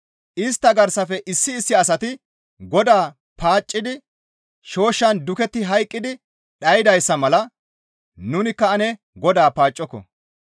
Istta garsafe issi issi asati Godaa paaccidi shooshshan duketti hayqqi dhaydayssa mala nunikka ane Godaa paaccoko.